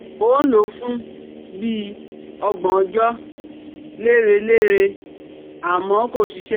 Mo lò ó fún bí i ọgbọ̀n ọjọ́ lérelére, àmọ́ kò ṣiṣẹ́